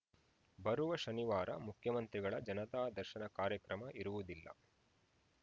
ಬರುವ ಶನಿವಾರ ಮುಖ್ಯಮಂತ್ರಿಗಳ ಜನತಾ ದರ್ಶನ ಕಾರ್ಯಕ್ರಮ ಇರುವುದಿಲ್ಲ